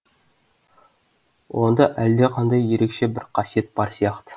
онда әлдеқандай ерекше бір қасиет бар сияқты